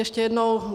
Ještě jednou.